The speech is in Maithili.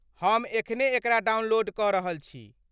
हम एखने एकरा डाउनलोड कऽ रहल छी।